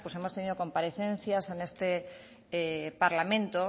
pues hemos tenido comparecencias en este parlamento